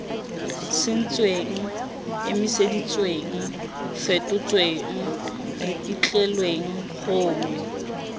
sentsweng emiseditsweng fetotsweng ripitlilweng gongwe